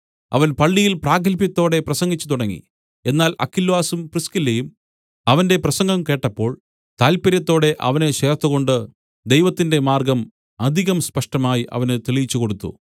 അവൻ പള്ളിയിൽ പ്രാഗത്ഭ്യത്തോടെ പ്രസംഗിച്ചു തുടങ്ങി എന്നാൽ അക്വിലാസും പ്രിസ്കില്ലയും അവന്റെ പ്രസംഗം കേട്ടപ്പോൾ താല്‍പ്പര്യത്തോടെ അവനെ ചേർത്തുകൊണ്ട് ദൈവത്തിന്റെ മാർഗ്ഗം അധികം സ്പഷ്ടമായി അവന് തെളിയിച്ചുകൊടുത്തു